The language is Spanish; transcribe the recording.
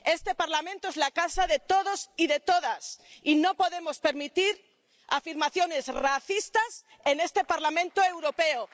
Este Parlamento es la casa de todos y de todas, y no podemos permitir afirmaciones racistas en este Parlamento Europeo.